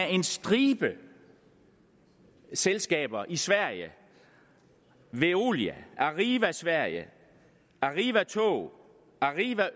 en stribe selskaber i sverige veolia arriva sverige arriva tog arriva